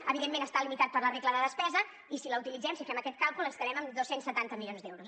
evidentment està limitat per la regla de despesa i si la utilitzem si fem aquest càlcul ens quedem amb dos cents i setanta milions d’euros